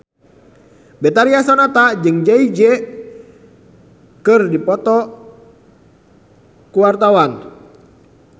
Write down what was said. Betharia Sonata jeung Jay Z keur dipoto ku wartawan